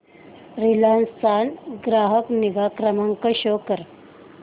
Reliance चा ग्राहक निगा क्रमांक शो कर